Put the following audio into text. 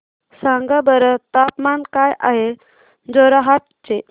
सांगा बरं तापमान काय आहे जोरहाट चे